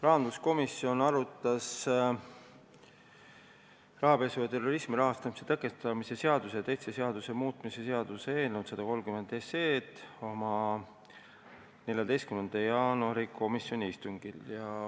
Rahanduskomisjon arutas rahapesu ja terrorismi rahastamise tõkestamise seaduse ja teiste seaduste muutmise seaduse eelnõu 130 oma 14. jaanuari istungil.